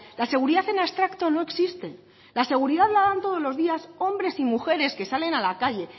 la seguridad en abstracto no existe la seguridad la dan todos los días hombres y mujeres que salen a la calle